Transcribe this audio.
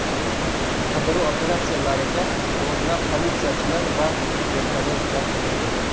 Qidiruv operatsiyalariga o‘nlab politsiyachilar va vertolyot jalb etildi.